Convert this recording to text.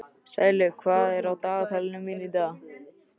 Sælaug, hvað er á dagatalinu mínu í dag?